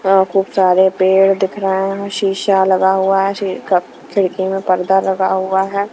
यहां खूब सारे पेड़ दिख रहे हैं शीशा लगा हुआ है क खिड़की में पर्दा लगा हुआ है।